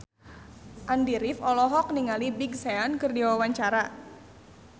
Andy rif olohok ningali Big Sean keur diwawancara